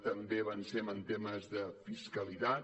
també avancem en temes de fiscalitat